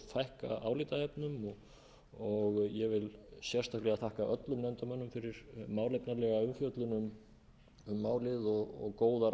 fækka álitaefnum ég vil sérstaklega þakka öllum nefndarmönnum fyrir málefnalega umfjöllun um málið og góðar